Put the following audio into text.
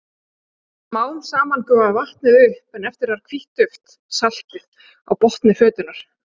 Smá saman gufaði vatnið upp en eftir varð hvítt duft, saltið, á botni fötunnar.